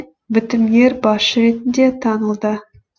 бітімгер басшы ретінде танылды